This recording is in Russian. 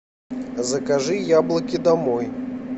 закажи яблоки домой